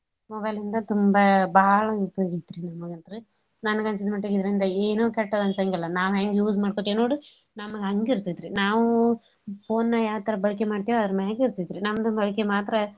Mobile ಇಂದಾ ತುಂಬಾ ಬಾಳ್ ಉಪಯೋಗ್ ಐತ್ರೀ mobile ಇದ್ರೆ ನನ್ಗ ಅನ್ನಸಿದ ಮಟ್ಗೆ ಇದ್ರಿಂದ ಏನು ಕೆಟ್ಟದಂಸಂಗಿಲ್ಲ ನಾವ್ ಹೆಂಗ use ಮಾಡ್ಕೋತಿವ್ ನೋಡು ನಮ್ಗ್ ಹಂಗ ಇರ್ತೇತ್ರಿ ನಾವು phone ನ ಯಾವ್ ತರಾ ಬಳ್ಕೆ ಮಾಡ್ತಿವ್ ಅದ್ರ ಮ್ಯಾಗ್ ಇರ್ತೇತ್ ರಿ ನಮ್ದು ಬಳಕೆ ಮಾತ್ರ.